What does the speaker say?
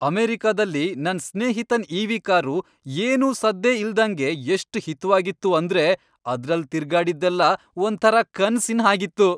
ಅಮೆರಿಕದಲ್ಲಿ ನನ್ ಸ್ನೇಹಿತನ್ ಇ.ವಿ. ಕಾರು ಏನೂ ಸದ್ದೇ ಇಲ್ದಂಗೆ ಎಷ್ಟ್ ಹಿತ್ವಾಗಿತ್ತು ಅಂದ್ರೆ ಅದ್ರಲ್ಲ್ ತಿರ್ಗಾಡಿದ್ದೆಲ್ಲ ಒಂಥರ ಕನ್ಸಿನ್ ಹಾಗಿತ್ತು.